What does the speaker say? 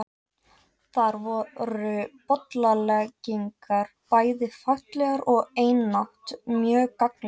Þar voru bollaleggingar bæði faglegar og einatt mjög gagnlegar.